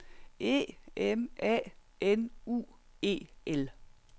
E M A N U E L